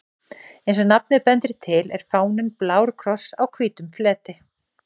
Eins og nafnið bendir til er fáninn blár kross á hvítum fleti.